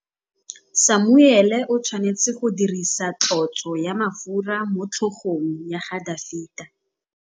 Samuele o tshwanetse go dirisa tlotsô ya mafura motlhôgong ya Dafita.